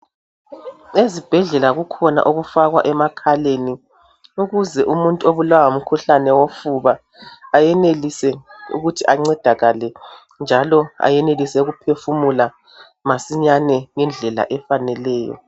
Ezibhedlela kukhona okufakwa emakhaleni, ukuze umuntu obulawa ngumkhuhlane wofuba ayenelise ukuthi ancedakale njalo ayenelise ukuphefumula masinyane ngendlela efaneleyo.